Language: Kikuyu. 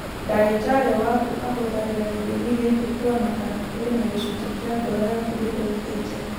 Ndagĩtarĩ waku ahũthagĩra gĩthimi gĩkĩ kũona kana kũrĩ na gĩcunjĩ kĩa ngoro yaku gĩthũkĩte.